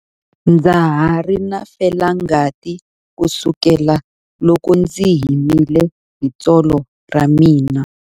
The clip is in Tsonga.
Ndza ha ri na felangati kusukela loko ndzi himile hi tsolo ra mina.